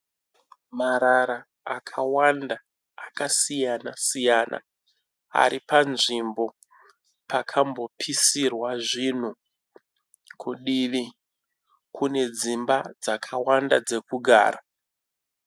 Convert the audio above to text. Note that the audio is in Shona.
Marara akawanda akasiyana-siyana ari panzvimbo pakambopisirwa zvinhu. Kudivi kune dzimba dzakawanda dzekugara.